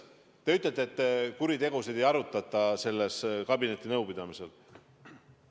Te ütlete, et kuritegusid ei arutata kabinetinõupidamisel.